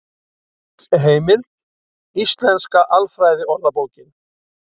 Heimild: Íslenska alfræðiorðabókin.